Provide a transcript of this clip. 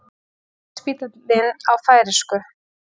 Landspítalinn á færeysku